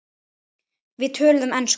Við töluðum ensku.